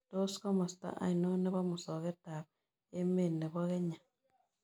Tos' komosta ainon ne po musogetap emet ne po kenya